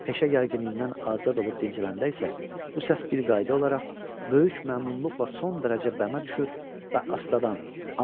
Peşə gərginliyindən azad olub dincələndə isə, bu səs bir qayda olaraq böyük məmnunluqla son dərəcə bəmə düşür və astadan.